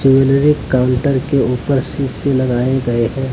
हर एक काउंटर पर शीशे लगाए हुए हैं।